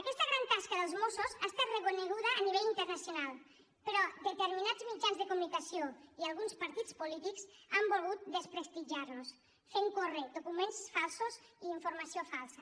aquesta gran tasca dels mossos ha estat reconeguda a nivell internacional però determinats mitjans de comunicació i alguns partits polítics han volgut desprestigiar los fent córrer documents falsos i informació falsa